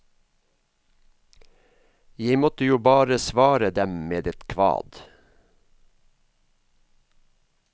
Jeg måtte jo bare svare dem med et kvad!